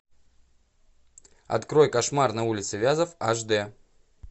открой кошмар на улице вязов аш дэ